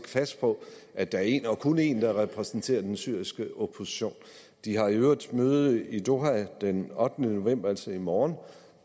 fast på at der er én og kun én der repræsenterer den syriske opposition de har i øvrigt møde i doha den ottende november altså i morgen